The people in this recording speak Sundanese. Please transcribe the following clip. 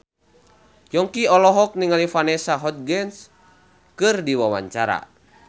Yongki olohok ningali Vanessa Hudgens keur diwawancara